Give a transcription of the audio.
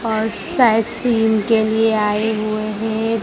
और शायद सिम के लिए आए हुए हैं।